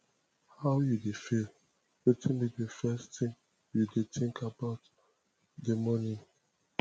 how you dey feel wetin be di first thing you dey think about di morning